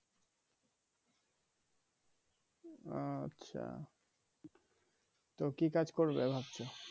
আচ্ছা তো কি কাজ করবে ভাবছো